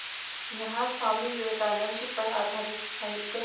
यहाँ स्वामी विवेकानंद पर आधारित साहित्य